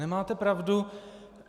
Nemáte pravdu.